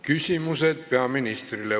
Küsimused peaministrile.